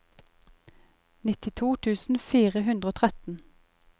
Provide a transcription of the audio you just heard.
nittito tusen fire hundre og tretten